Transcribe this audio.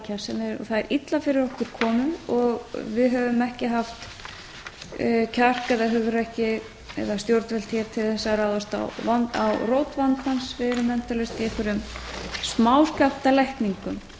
það er illa fyrir okkur komið við höfum ekki haft kjark eða hugrekki eða stjórnvöld hér til þess að ráðast á rót vandans við erum endalaust í einhverjum smáskammtalækningum á sama